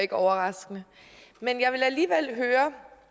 ikke overraskende men jeg vil alligevel høre om